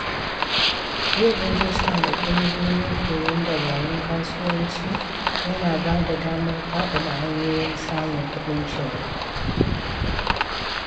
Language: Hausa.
Yin rijista da ƙungiyoyin koyon dabarun kasuwanci yana bada damar faɗaɗa hanyoyin samun kuɗin shiga.